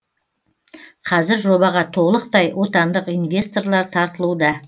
қазір жобаға толықтай отандық инвесторлар тартылуда